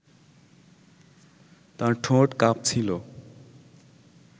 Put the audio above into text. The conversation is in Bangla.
তার ঠোঁট কাঁপছিল